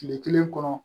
Tile kelen kɔnɔ